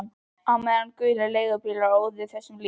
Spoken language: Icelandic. Og á meðan gulir leigubílar óðu hjá þessu lík